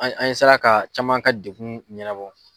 An ye an ye sera ka caman ka degun ɲɛna bɔ.